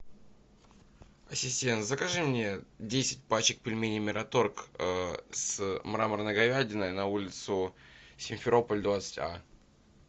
ассистент закажи мне десять пачек пельменей мираторг с мраморной говядиной на улицу симферополь двадцать а